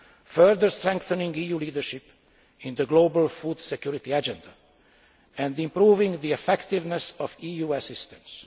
further strengthening EU leadership in the global food security agenda and improving the effectiveness of EU assistance.